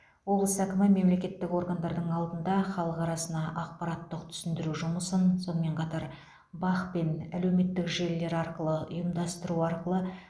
облыс әкімі мемлекеттік органдардың алдында халық арасында ақпараттық түсіндіру жұмысын сонымен қатар бақ пен әлеуметтік желілер арқылы ұйымдастыру арқылы